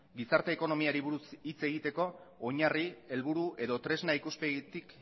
gizarte ekonomiari buruz hitz egiteko oinarri helburu edo tresna ikuspegitik